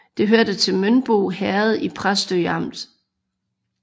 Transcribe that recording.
Det hørte til Mønbo Herred i Præstø Amt